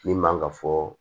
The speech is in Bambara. Min man kan ka fɔ